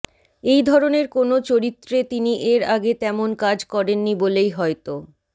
এই ধরনের কোনও চরিত্রে তিনি এর আগে তেমন কাজ করেননি বলেই হয়তো